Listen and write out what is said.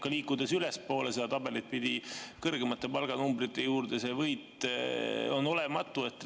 Ja liikudes ülespoole seda tabelit pidi, kõrgemate palganumbrite juurde, see võit on olematu.